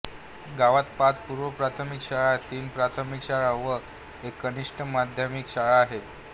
गावात पाच पूर्वप्राथमिक शाळा तीन प्राथमिक शाळा व एक कनिष्ठ माध्यमिक शाळा आहे